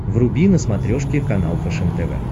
вруби на смотрешке канал фэшен тв